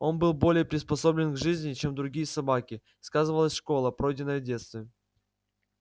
он был более приспособлен к жизни чем другие собаки сказывалась школа пройденная в детстве